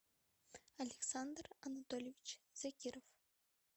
александр анатольевич закиров